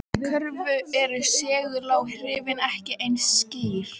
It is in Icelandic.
Í Kröflu eru seguláhrifin ekki eins skýr.